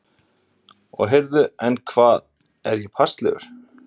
Og heyrðu, en, hvað, er ég passlegur?